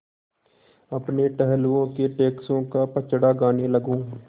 अपने टहलुओं के टैक्सों का पचड़ा गाने लगूँ